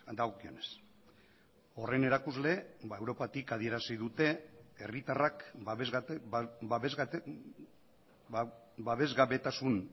dagokionez horren erakusle europatik adierazi dute herritarrak babesgabetasun